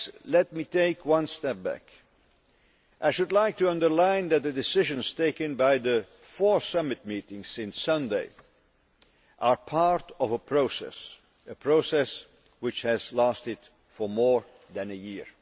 Let me take one step back. I should like to underline that the decisions taken by the four summit meetings since Sunday are part of a process which has lasted for more than a year.